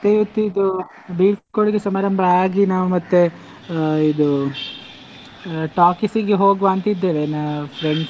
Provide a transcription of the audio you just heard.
ಇವತ್ತಿದು ಇದು ಬೀಳ್ಕೊಡುಗೆ ಸಮಾರಂಭ ಆಗಿ ನಾವು ಮತ್ತೆ ಹಾ ಇದು talkies ಇಗೆ ಹೋಗ್ವಾ ಅಂತ ಇದ್ದೇವೆ ನಾವು friends .